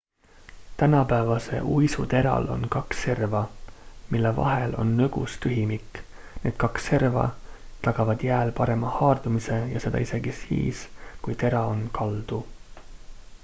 tänapäevase uisu teral on kaks serva mille vahel on nõgus tühimik need kaks serva tagavad jääl parema haardumise ja seda isegi siis kui tera on kaldu